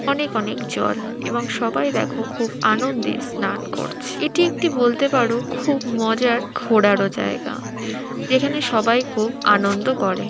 অনেক অনেক জ্বর এবং সবাই দেখো খুব আনন্দের স্নান করছে এটি একটি বলতে পারো খুব মজার ঘোরারও জায়গা যেখানে সবাই খুব আনন্দ করে।